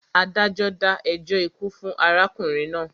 Adájọ́ dá ẹjọ́ ikú fún arákùnrin náà.